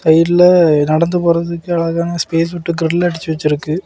சைடுல நடந்து போறதுக்கு அழகான ஸ்பேஸ் உட்டு கல்லடிச்சு வெச்சுருக்கு.